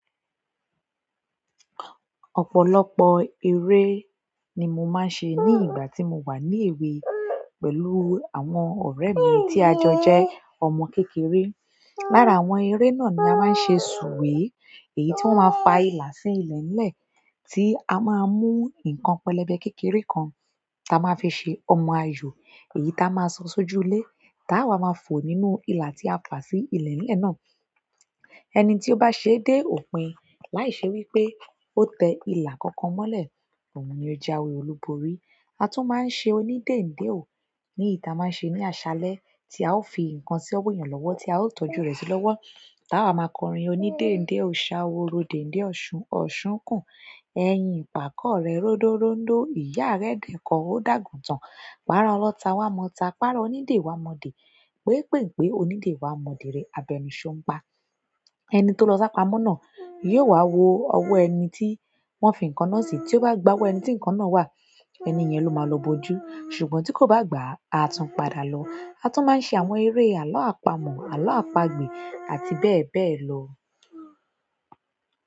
Ọ̀pọ̀lọpọ̀ eré ni mo máa ń ṣe ní ìgbà tí mo wà ní èwe pẹ̀lú àwọn ọ̀rẹ́ mi tí a jọ jẹ́ ọmọ kékeré. Lára àwọn eré náà ni a máa ń ṣe sùwé, èyí tí wọ́n máa fa ìlà sí ilẹ̀lẹ̀ tí a máa mú nǹkan pẹlẹbẹ kékeré kan tí a máa fi ṣe ọmọ ayò, èyí tí a máa sọ sójúlé táa wa máa fò nínú ìlà tí a fà sí ilẹ̀lẹ̀ náà. Ẹni tí ó bá ṣe dé òpin láìṣe wí pé ó tẹ ila kankan mọ́lẹ̀, ni ó jawe olúborí. A tún máa ń ṣe onídèndé o ní èyí ti a máa ń ṣe ní aṣálẹ́ tí a ó fi ǹkan sí ènìyàn lọ́wọ́ tí a ó tọ́jú rẹ̀ sí lọ́wọ́. Tá a máa kọrin onídèndé o, ṣáworo dèn dé ọ̀ṣun, ọ̀ṣun kùn, ẹyin ìpàkọ́ rẹ ró rodorondo, ìyá rẹ dikọ ó dàgùntàn. Pàra ọlota wá mọ̀ọ́ta, pàra onídè wá mọ̀ọ́dè. Wé pènpé onídè wá mọ̀ọ́dè rẹ, àbenu ṣóńpa. Ẹni tó lọ sá pamọ́ náà yóò wá wo ọwọ ẹni tí wọ́n fi ǹkan náà sí. Tí ó bá gbá owó ẹni tí ǹkan náà wà, ẹni yẹn ló máa lọ bojú. Ṣùgbọ́n tí kò bá gba á, a tún padà lọ. A tún máa ń se àwọn eré àalọ́ àpamọ̀, àalọ́ àpagbè àti bẹ́ẹ̀ bẹ́ẹ̀ lọ.